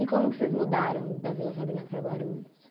E como que vocês mudaram da Vila Sabrina para Guarulhos?